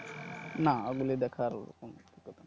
না ওগুলো দেখার কোনো